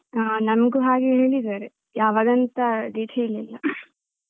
ಹ ನಮ್ಗು ಹಾಗೆ ಹೇಳಿದ್ದಾರೆ ಯಾವಾಗಂತ date ಹೇಳಿಲ್ಲ.